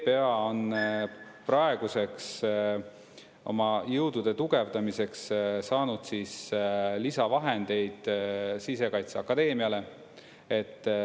PPA on praeguseks oma jõudude tugevdamiseks saanud siis lisavahendeid Sisekaitseakadeemiale.